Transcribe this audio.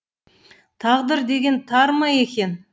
тағдыр деген тар ма екен